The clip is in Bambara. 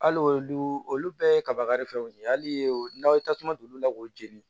Hali olu olu bɛɛ ye kabakari fɛnw ye hali n'aw ye tasuma don olu la k'o jeni